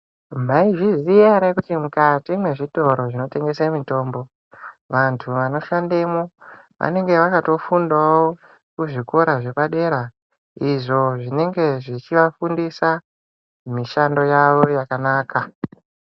Maizviziya ere kuti mwukati mwezvitoro zvinotengese mitombo, vantu vanoshandemwo vanenge vakatofundawo muzvikora zvepadera izvo zvinenga zvechivafundisa mishando yawo yakanaka.